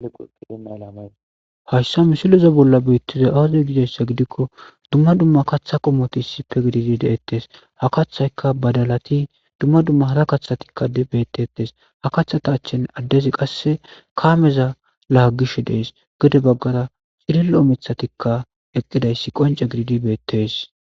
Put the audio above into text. hayssa misiloza bolla beittiza awazoy gidayssa gidikko dumma dumma kaththa qomoti issife gididi deettes ha kathayka badalati dumma dumma hara kathatikka beettettes ha kathata achchin addezi qasse kaameza laagish dees gode baggara cirillo mithatikka eqqidayssi qonce gididi beettes